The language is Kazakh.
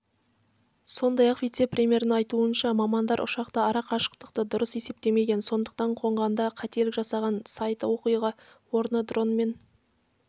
сондай-ақ вице-премьердің айтуынша мамандар ұшақтың ара-қашықтықты дұрыс есептемеген сондықтан қонғанда қателік жасаған сайты оқиға орны дронмен